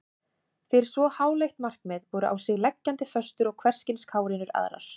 Fyrir svo háleitt markmið voru á sig leggjandi föstur og hverskyns kárínur aðrar.